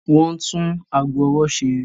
Wọ́n ń tún ago ọwọ́ ṣe.